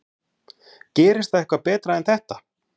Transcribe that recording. Gerist það eitthvað betra en þetta?